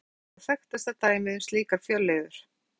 Tilbúin plastefni eru væntanlega þekktasta dæmið um slíkar fjölliður.